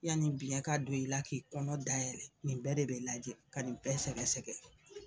yani biɲɛ ka don i la k'i kɔnɔ dayɛlɛ nin bɛɛ de bɛ lajɛ ka nin bɛɛ sɛgɛsɛgɛ